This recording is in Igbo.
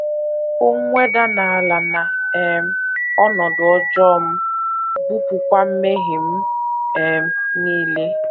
Hụ mweda n’ala na um ọnọdụ ọjọọ m; bupụkwa mmehie m um nile. ”